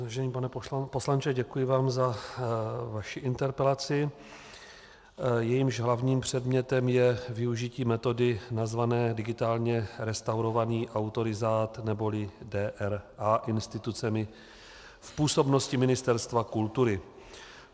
Vážený pane poslanče, děkuji vám za vaši interpelaci, jejímž hlavním předmětem je využití metody nazvané digitálně restaurovaný autorizát, neboli DRA, institucemi v působnosti Ministerstva kultury.